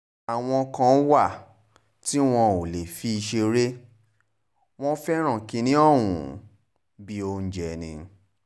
àwọn kan wà tí wọn ò lè fi ṣeré wọn fẹ́ràn kínní ọ̀hún bíi oúnjẹ ni